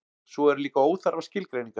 svo eru líka óþarfar skilgreiningar